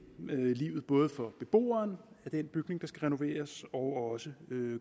livet både for beboerne i den bygning der skal renoveres og også